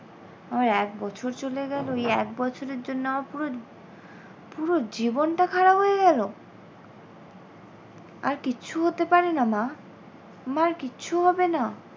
আমার এক বছর চলে গেল এই এক বছরের জন্য আমার পুরো পুরো জীবনটা খারাপ হয়ে গেল। আর কিচ্ছু হতে পারে না মা? মা আর কিচ্ছু হবে না?